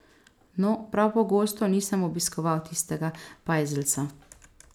No, prav pogosto nisem obiskoval tistega pajzelca.